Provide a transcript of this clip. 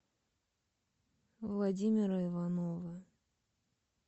владимира иванова